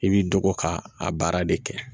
I b'i dɔgɔ ka a baara de kɛ